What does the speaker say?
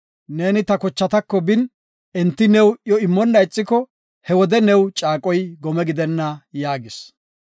Neeni ta kochatako bin, enti new iyo immonna ixiko, he wode new caaqoy gome gidenna” yaagis.